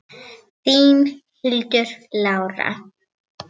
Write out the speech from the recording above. Þín, Hildur Lára.